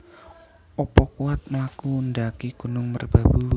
Opo kuwat mlaku ndaki Gunung Merbabu?